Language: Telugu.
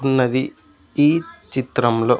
ఉన్నది ఈ చిత్రంలో.